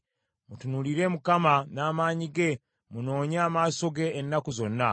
Mutunuulire Mukama n’amaanyi ge; munoonye amaaso ge ennaku zonna.